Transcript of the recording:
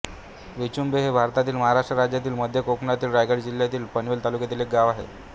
विचुंबें हे भारतातील महाराष्ट्र राज्यातील मध्य कोकणातील रायगड जिल्ह्यातील पनवेल तालुक्यातील एक गाव आहे